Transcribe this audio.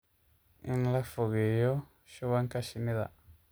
In la fogeeyo shubanka shinnida.